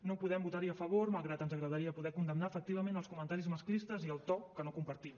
no podem votar hi a favor malgrat que ens agradaria poder condemnar efectivament els comentaris masclistes i el to que no compartim